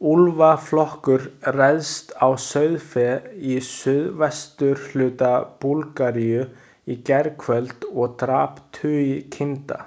Úlfaflokkur réðst á sauðfé í suðvesturhluta Búlgaríu í gærkvöld og drap tugi kinda.